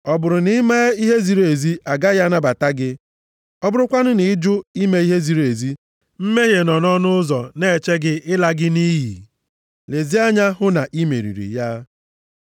Ọ bụrụ na i mee ihe ziri ezi, agaghị anabata gị? Ọ bụrụkwanụ na ị jụ ime ihe ziri ezi, mmehie nọ nʼọnụ ụzọ na-eche gị ịla gị nʼiyi. Lezie anya hụ na i meriri ya.”